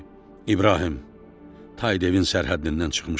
İbrahim, tay devin sərhəddindən çıxmışıq.